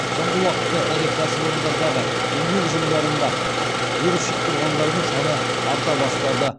соңғы уақытта ірі кәсіпорындардағы еңбек ұжымдарында вирус жұқтырғандарың саны арта бастады